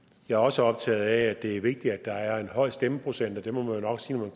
jeg er også optaget af at det er vigtigt at der er en høj stemmeprocent og man må jo nok sige når